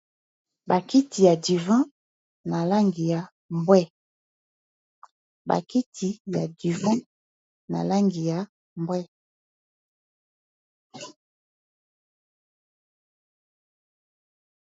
Bakiti ya duvan na langi ya mbwe.